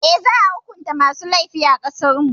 Eh, za a hukunta masu laifi a ƙasarmu.